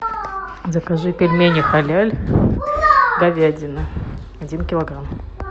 закажи пельмени халяль говядина один килограмм